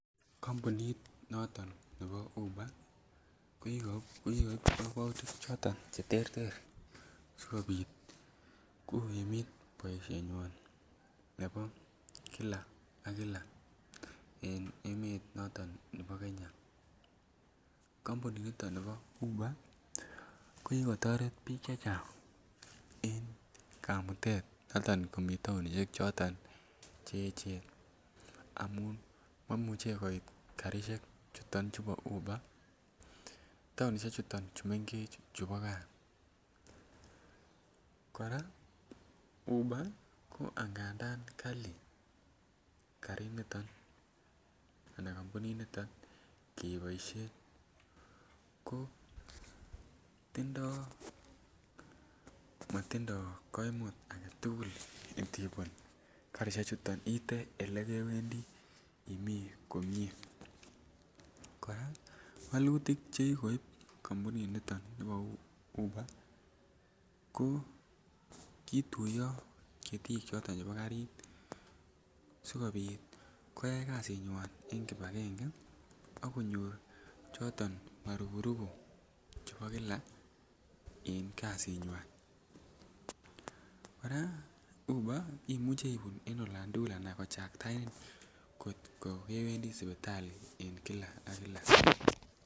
Kompunit noton nebo Uber ko ki koib kokwoutik choton Che terter asi kobit kogimit boisienywa nebo kila ak kila en emet noton nebo Kenya kompunit noton nebo Uber ko ki kotoret bik chechang en kamutet noton nebo bik en taonisiek Che echen amun maimuche koit karisiek choton chebo Uber taonisiek choton chemengech chebo olibo gaa kora Uber angadan kali karinito anan kompuninito keboisien ko matindo koimut age tugul indibun iite olekewendi imi komie kora wolutik Che kikoib kompuninito bo Uber ko kituiyo ketik choton chebo karit asikobit koyai kasinywan en kibagenge asikobit konyor choton marupupu chebo kila en kasinywan kora Uber ko Imuch kochaktaenin angot ko kewendi sipitali en kila ak kila